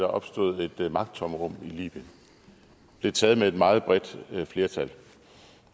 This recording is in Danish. opstod et magttomrum i libyen blev taget med et meget bredt flertal